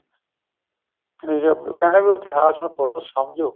ਠੀਕ ਏ ਕਹਿਨਾ ਬੀ ਇਤਿਹਾਸ ਨੂੰ ਸਮਝੋ